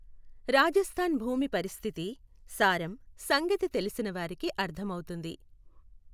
రాజస్థాన్ భూమి పరిస్థితి, సారం సంగతి తెలిసినవారికి అర్ధమవుతుంది.